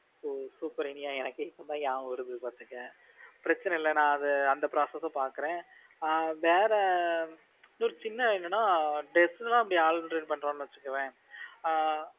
ஓ super இனியா எனக்கே இப்பதான் ஞாபகம் வருது பாத்துக்கோ பிரச்சனை இல்ல நான் அந்த process பாக்கறேன் ஆஹ் வேற இன்னொரு சின்ன என்னன்னா இப்போ dress லாம் நம்ம order பன்றோம் வச்சுகோவேன் ஆஹ்